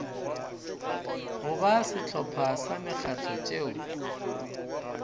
goba sehlopha sa mekgatlo tšeo